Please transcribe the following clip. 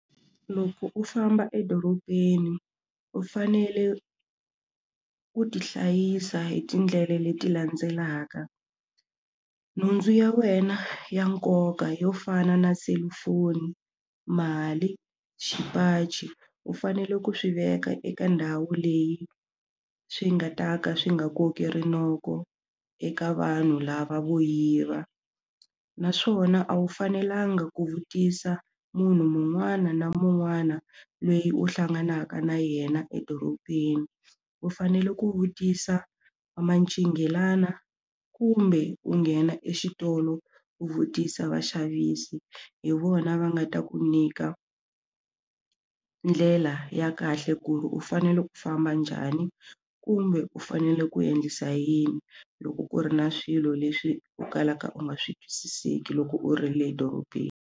Loko u famba edorobeni u fanele u tihlayisa hi tindlela leti landzelaka nhundzu ya wena ya nkoka yo fana na selufoni mali xipachi u fanele ku swi veka eka ndhawu leyi swi nga ta ka swi nga koki rinoko eka vanhu lava vo yiva naswona a wu fanelanga ku vutisa munhu mun'wana na mun'wana loyi u hlanganaka na yena edorobeni u fanele ku vutisa va mancinghelani kumbe ku nghena exitolo u vutisa vaxavisi hi vona va nga ta ku nyika ndlela ya kahle ku ri u fanele u famba njhani kumbe u fanele ku endlisa yini loko ku ri na swilo leswi u kalaka u nga swi twisiseki loko u ri le dorobeni.